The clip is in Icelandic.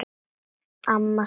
Amast skal við lögnum lítt.